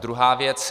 Druhá věc.